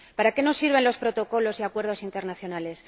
¿Para qué nos sirven los protocolos y acuerdos internacionales?